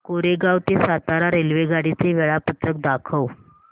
कोरेगाव ते सातारा रेल्वेगाडी चे वेळापत्रक दाखव